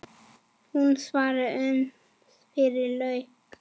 Hún svaf uns yfir lauk.